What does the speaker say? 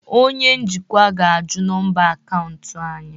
Onye njikwa ga-ajụ nọmba akaụntụ anyị